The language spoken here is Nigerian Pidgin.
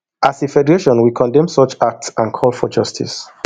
as a federation we condemn such acts and call for justice